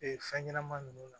Ee fɛn ɲɛnama nunnu na